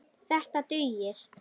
Þetta dugir.